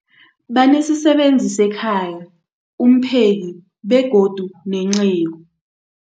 Banesisebenzi sekhaya, umpheki, begodu nenceku.